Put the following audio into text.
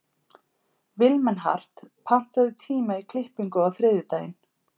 Vilmenhart, pantaðu tíma í klippingu á þriðjudaginn.